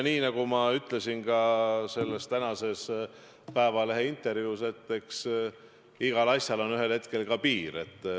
Nii nagu ma ütlesin ka tänases Eesti Päevalehe intervjuus, eks igal asjal jõuab ühel hetkel kätte ka piir.